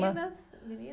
eninas?